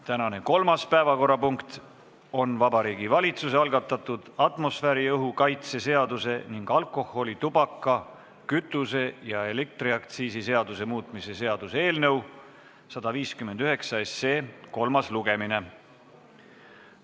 Tänane kolmas päevakorrapunkt on Vabariigi Valitsuse algatatud atmosfääriõhu kaitse seaduse ning alkoholi-, tubaka-, kütuse- ja elektriaktsiisi seaduse muutmise seaduse eelnõu 159 kolmas lugemine.